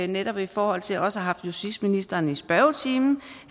netop i forhold til også haft justitsministeren i spørgetiden